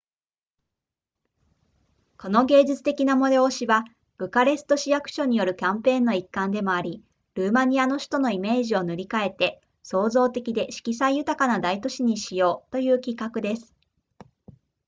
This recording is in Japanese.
この芸術的な催しはブカレスト市役所によるキャンペーンの一環でもありルーマニアの首都のイメージを塗り変えて創造的で色彩豊かな大都市にしようという企画です